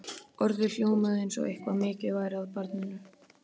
Orðið hljómaði eins og eitthvað mikið væri að barninu.